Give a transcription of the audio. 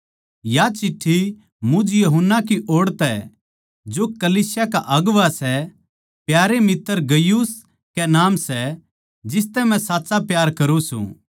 या चिट्ठी मुझ यूहन्ना की ओड़ तै जो कलीसिया का अगुवां सै प्यारे मित्तर गयुस कै नाम सै जिसतै मै सच्चा प्यार करुँ सूं